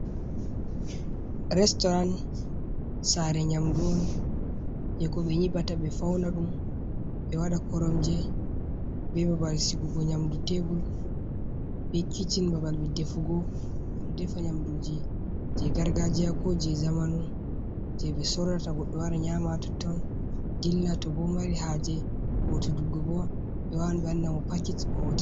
Restoran sare nyamdu on je ko nyiɓata ɓe Fauna ɗum ɓe waɗata koromje be babal sigugo nyamdu tebur be kishin babal ɗefugo ɓe ɗefa nyamduji je gargajiya ko je jamanu je ɓe sorata goddo wara nyaama ha totton ɗilla to bo mari haje ho todukko ɓe wawan ɓe wanna mo pakej ohotida.